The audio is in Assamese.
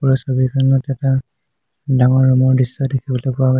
উক্ত ছবিখনত এটা ডাঙৰ ৰুমৰ দৃশ্য দেখিবলৈ পোৱা গৈ--